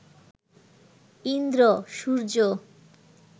Indra, Surya